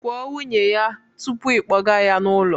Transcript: Kwuo nwunye ya tupu ị kpọga ya n'ụlọ